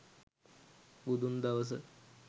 බුදුන් දවස